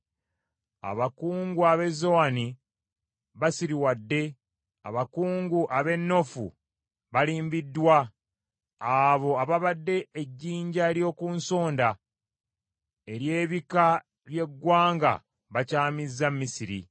Abakungu ab’e Zowani basiriwadde, abakungu ab’e Noofu balimbiddwa, abo ababadde ejjinja ery’oku nsonda ery’ebika by’eggwanga bakyamizza Misiri.